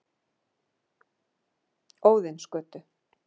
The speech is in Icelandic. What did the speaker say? Óðinsgötu